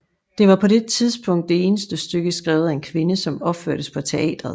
Det var på det tidspunkt det eneste stykke skrevet af en kvinde som opførtes på teateret